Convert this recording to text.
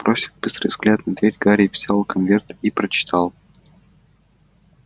бросив быстрый взгляд на дверь гарри взял конверт и прочитал